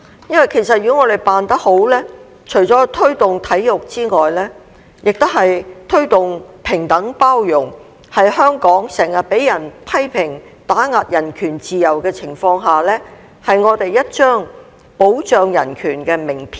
因為其實如果我們辦得好，除了推動體育之外，也是推動平等包容，在香港經常被批評打壓人權自由的情況下，是我們一張保障人權的名片。